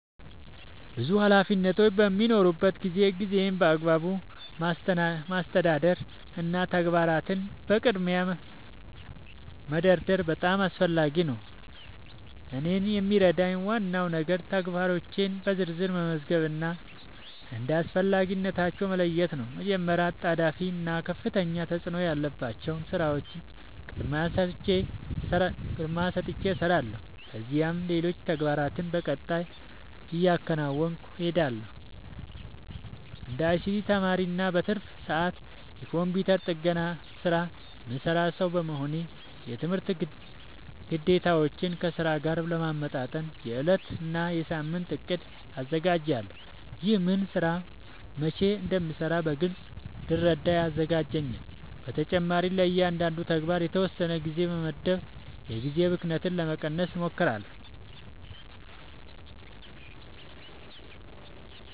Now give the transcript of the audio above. ብዙ ኃላፊነቶች በሚኖሩበት ጊዜ ጊዜን በአግባቡ ማስተዳደር እና ተግባራትን በቅድሚያ መደርደር በጣም አስፈላጊ ነው። እኔን የሚረዳኝ ዋናው ነገር ተግባራቶቼን በዝርዝር መመዝገብ እና እንደ አስፈላጊነታቸው መለየት ነው። መጀመሪያ አጣዳፊ እና ከፍተኛ ተፅእኖ ያላቸውን ሥራዎች ቅድሚያ ሰጥቼ እሰራለሁ፣ ከዚያም ሌሎች ተግባራትን በቀጣይ እያከናወንሁ እሄዳለሁ። እንደ አይሲቲ ተማሪ እና በትርፍ ሰዓቴ የኮምፒውተር ጥገና ሥራ የምሠራ ሰው በመሆኔ፣ የትምህርት ግዴታዎቼን ከሥራዬ ጋር ለማመጣጠን የዕለት እና የሳምንት እቅድ አዘጋጃለሁ። ይህ ምን ሥራ መቼ እንደሚሠራ በግልጽ እንድረዳ ያግዘኛል። በተጨማሪም ለእያንዳንዱ ተግባር የተወሰነ ጊዜ በመመደብ የጊዜ ብክነትን ለመቀነስ እሞክራለሁ።